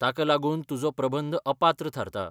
ताका लागून तुजो प्रबंध अपात्र थारता.